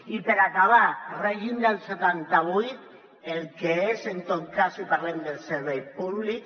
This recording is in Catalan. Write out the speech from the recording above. i per acabar el règim del setanta vuit el que és en tot cas si parlem dels serveis públics